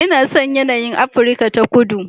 Ina son yanayin Afirka ta Kudu